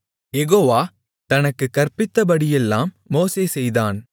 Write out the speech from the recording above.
யெகோவா தனக்குக் கற்பித்தபடியெல்லாம் மோசே செய்தான்